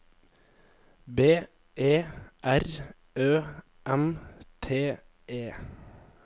B E R Ø M T E